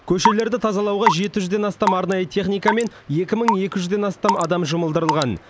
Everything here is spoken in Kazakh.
көшелерді тазалауға жеті жүзден астам арнайы техника мен екі мың екі жүзден астам адам жұмылдырылған